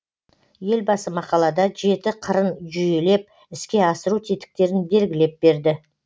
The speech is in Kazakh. елбасы мақалада жеті қырын жүйелеп іске асыру тетіктерін белгілеп берді